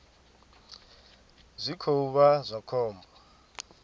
zwi khou vha zwa khombo